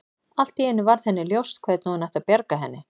Allt í einu varð henni ljóst hvernig hún ætti að bjarga henni.